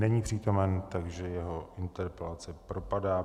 Není přítomen, takže jeho interpelace propadá.